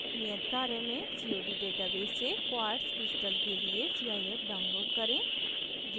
नियत कार्य में